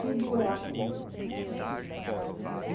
Tudo é acúmulo.